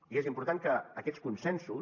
i és important que aquests consensos